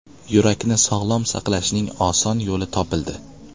Yurakni sog‘lom saqlashning oson yo‘li topildi.